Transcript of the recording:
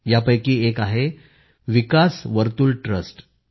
यापैकीच एक आहे विकास वर्तुल ट्रस्ट